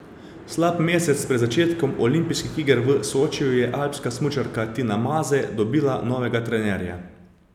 Slab mesec pred začetkom olimpijskih iger v Sočiju je alpska smučarka Tina Maze dobila novega trenerja.